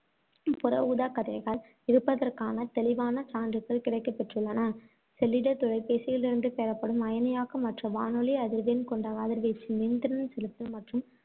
புற ஊதாக்கதிர்கள் இருப்பதற்கான தெளிவான சான்றுகள் கிடைக்கப் பெற்றுள்ளன. செல்லிடத் தொலைபேசியிலிருந்து பெறப்படும் அயனியாக்கமற்ற, வானொலி அதிர்வெண் கொண்ட கதிர்வீச்சு, மின்திறன் செலுத்தல், மற்றும்